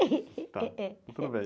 É, eh...á, está tudo bem.